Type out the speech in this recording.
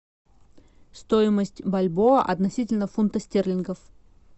стоимость бальбоа относительно фунта стерлингов